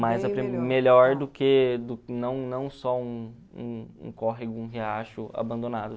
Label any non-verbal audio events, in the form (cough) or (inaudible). (unintelligible) melhor do que não não só um um um córrego, um riacho abandonado.